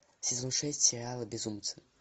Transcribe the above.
сезон шесть сериала безумцы